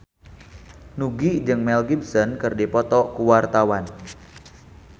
Nugie jeung Mel Gibson keur dipoto ku wartawan